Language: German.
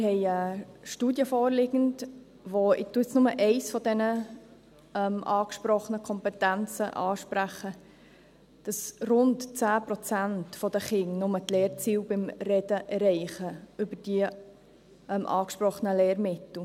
Es liegt uns eine Studie vor – ich spreche nur eine der angesprochenen Kompetenzen an –, wonach nur rund 10 Prozent der Kinder die Lernziele beim Sprechen über die angesprochenen Lehrmittel erreichen.